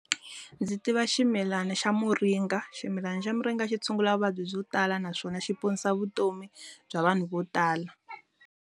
Ndzi tiva ximilana xa muringa. Ximilana xa muringa tshungula vuvabyi byo tala naswona xi ponisa vutomi bya vanhu vo tala.